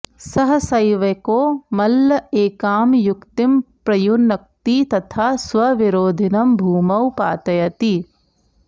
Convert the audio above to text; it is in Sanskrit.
सहसैवैको मल्ल एकां युक्तिं प्रयुनक्ति तथा स्वविरोधिनं भूमौ पातयति